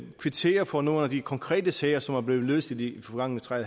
kvittere for nogle af de konkrete sager som er blevet løst i de forgangne tre